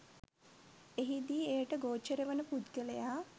එහිදී එයට ගෝචර වන පුද්ගලයා